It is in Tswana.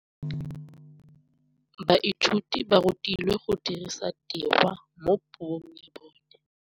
Baithuti ba rutilwe go dirisa tirwa mo puong ya bone.